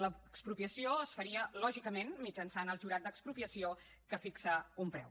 l’expropiació es faria lògicament mitjançant el jurat d’expropiació que fixa un preu